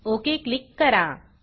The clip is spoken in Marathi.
ओक क्लिक करा